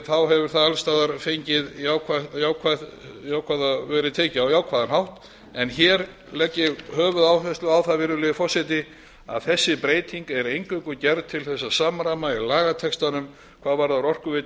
þá hefur það alls staðar verið tekið á jákvæðan hátt en hér legg ég höfuðáherslu á það virðulegi forseti að þessi breyting er eingöngu gerð til þess að samræma í lagatextanum hvað varðar orkuveitu